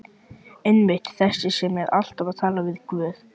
Einmitt- þessi sem er alltaf að tala um Guð.